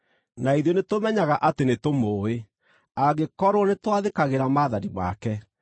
Na ithuĩ nĩtũmenyaga atĩ nĩtũmũũĩ, angĩkorwo nĩtwathĩkagĩra maathani make.